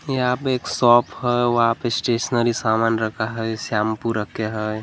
यहाँ पे एक शॉप हैं वहां पे स्टेशनरी सामान रखा हैं शैम्पू रखे हैं।